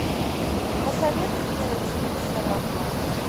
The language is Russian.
посоветуй мне на тиви сарафан